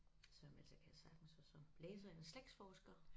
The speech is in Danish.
Så men ellers så kan jeg sagtens og så læser jeg slægtsforsker